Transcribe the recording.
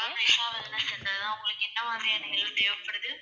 ஆமா ma'am Usha wellness center தான். உங்களுக்கு என்ன மாதிரியான help தேவைப்படுது?